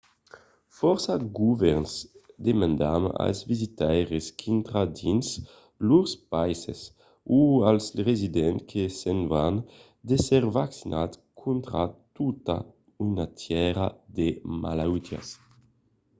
fòrça govèrns demandan als visitaires qu'intran dins lors païses o als residents que se'n van d'èsser vaccinats contra tota una tièra de malautiás